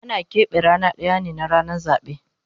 Ana kepe rana daya ne na ranan zabe